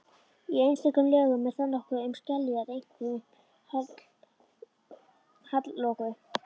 Í einstökum lögum er þar nokkuð um skeljar, einkum hallloku.